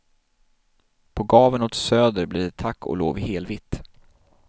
På gaveln åt söder blir det tack och lov helvitt.